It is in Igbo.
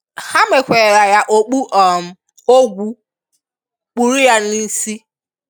Ha mèkwàrà ya okpù um ògwù, kpụ̀rù ya n’ísi.